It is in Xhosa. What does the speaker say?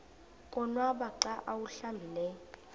konwaba xa awuhlambileyo